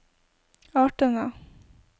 artene